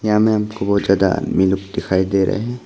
यहां में हमको बहोत ज्यादा मी लोग दिखाई दे रहे हैं।